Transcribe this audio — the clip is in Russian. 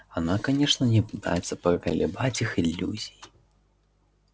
она конечно не пытается поколебать их иллюзий